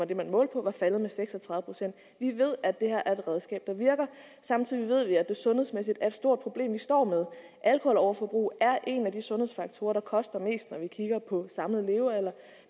det man målte på var faldet med seks og tredive procent vi ved at det her er et redskab der virker samtidig ved vi at det sundhedsmæssigt er et stort problem vi står med alkoholoverforbrug er en af de sundhedsfaktorer der koster mest når vi kigger på den samlede levealder